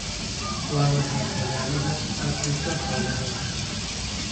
Waa maxay tallaalada aad siiso xoolahaaga?